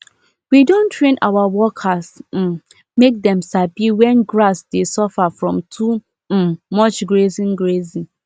we don train our workers um make dem sabi when grass dey suffer from too um much grazing grazing